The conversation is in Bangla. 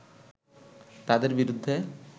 তাদের বিরুদ্ধে